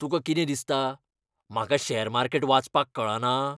तुका कितें दिसता? म्हाका शॅर मार्केट वाचपाक कळना?